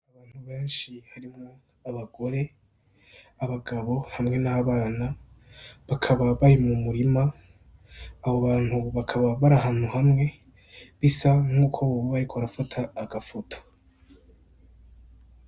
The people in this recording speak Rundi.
Abantu benshi harimwo abagore abagabo hamwe n'abana bakaba bayi mu murima abo bantu bakaba bari hantu hamwe bisa nk'uko bubabayeko arafata agafuto